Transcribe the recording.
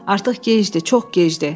Artıq gecdir, çox gecdir.